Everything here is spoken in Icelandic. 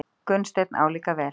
Gunnsteinn álíka vel.